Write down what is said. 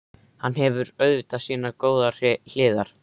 Hann hefur auðvitað sínar góðu hliðar.